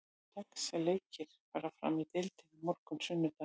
Sex leikir fara fram í deildinni á morgun, sunnudag.